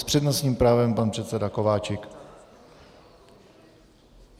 S přednostním právem pan předseda Kováčik.